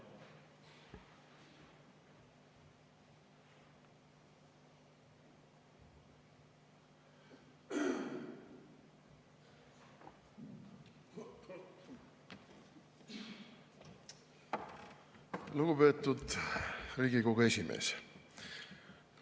Lugupeetud Riigikogu esimees!